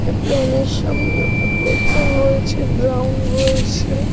এ plane -এর সামনে অনেক লোকজন রয়েছে ড্রাম রয়েছে।